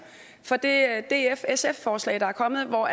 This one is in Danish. for det df sf forslag der er kommet hvor